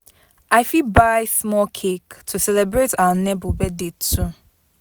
I fit buy small cake to celebrate our neighbor birthday too.